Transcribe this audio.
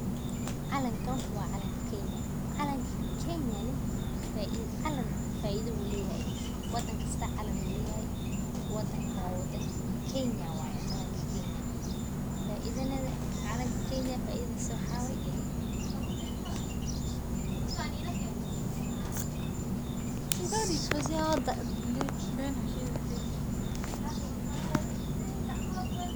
Calankan waa calankii Kenya, calan faa'iida ayu leyahay, wadan kista calan uu leyahay, wadankan wadankii Kenya waye faaiidadana calankii Kenya faaiidadisa waxa way